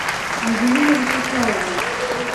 ангелина вячеславовна